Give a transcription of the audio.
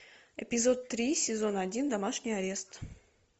эпизод три сезон один домашний арест